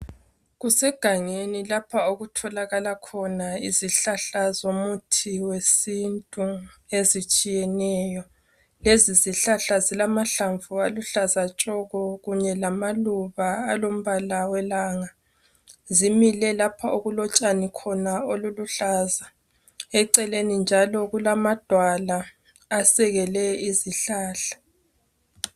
Kusegangeni lapha okutholakala khona izihlahla zomuthi wesiNtu ezitshiyeneyo. Lezi zihlahla zilamahlamvu aluhlaza tshoko kunye lamaluba alombala welanga. Zimile lapho okulotshanikhona oluluhlaza eceleni njalo kulamadwala asekele izihlahla.